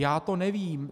Já to nevím.